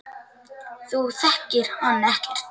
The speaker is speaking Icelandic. Þú þekkir hann ekkert.